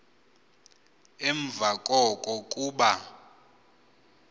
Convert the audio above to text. emva koko kuba